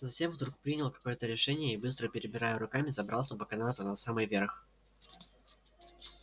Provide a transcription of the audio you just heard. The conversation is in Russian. затем вдруг принял какое-то решение и быстро перебирая руками забрался по канату на самый верх